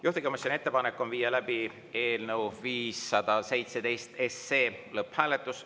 Juhtivkomisjoni ettepanek on viia läbi eelnõu 517 lõpphääletus.